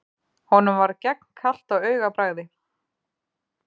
Honum varð gegnkalt á augabragði.